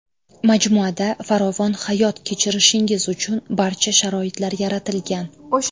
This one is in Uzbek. Majmuada farovon hayot kechirishingiz uchun barcha sharoitlar yaratilgan.